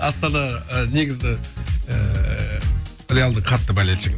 астана ы негізі реалдың қатты болельшігімін